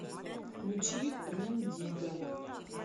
включи рем дигга